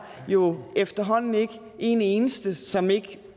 jo efterhånden ikke er en eneste som ikke